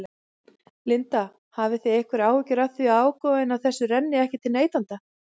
Linda: Hafið þið einhverjar áhyggjur af því að ágóðinn af þessu renni ekki til neytenda?